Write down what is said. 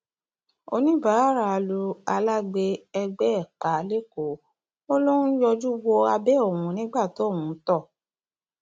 ọníbàárà lu alágbe ẹgbẹ ẹ pa lẹkọọ ó lọ ń yọjú wo abẹ òun nígbà tóun ń tọ